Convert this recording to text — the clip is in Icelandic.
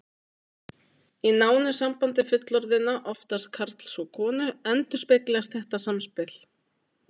Í nánu sambandi fullorðinna, oftast karls og konu, endurspeglast þetta samspil.